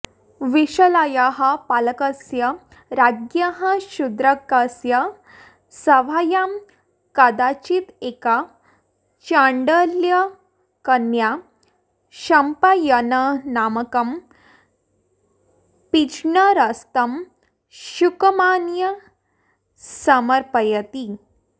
विशालायाः पालकस्य राज्ञः शूद्रकस्य सभायां कदाचिदेका चाण्डालकन्या शम्पायननामकं पिञ्जरस्थं शुकमानीय समर्पयति